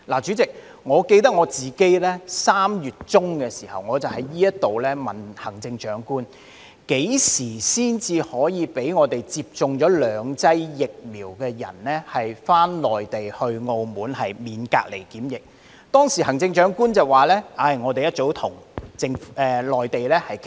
主席，我記得自己3月中在此詢問行政長官，何時才可讓接種了兩劑疫苗的人士往內地和澳門時免受隔離檢疫，當時行政長官說政府早已開始與內地部門商討，仍在商討中。